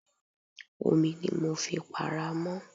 Omi ni mo fi para mọ́.